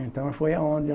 Então, foi aonde